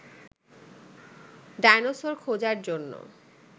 dinosaur খোঁজার জন্য